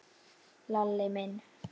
Lalli minn?